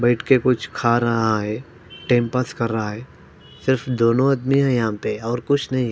बेट के कुछ खा रहा है टाइम पास कर रहा है सिर्फ दोनों आदमी है यहाँ पर और कुछ नही--